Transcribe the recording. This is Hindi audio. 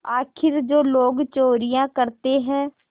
आखिर जो लोग चोरियॉँ करते हैं